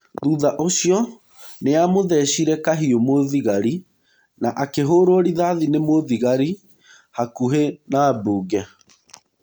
Thutha ũcio nĩamũthecire kahiũmũthigari na akĩhũrwo rithathi nĩ mũthigari hakuhĩ na mbunge.